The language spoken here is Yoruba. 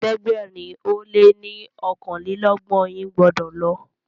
ẹ̀ẹ́dẹ̀gbẹ̀rin o lẹ ní okanlelogbon yín gbódò lo.!